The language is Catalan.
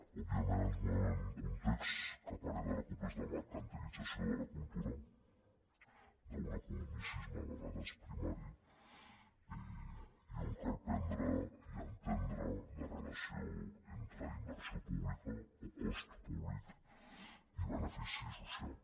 òbviament ens movem en un context que a parer de la cup és de mercantilització de la cultura d’un economicisme a vegades primari i on cal prendre i entendre la relació entre inversió pública o cost públic i benefici social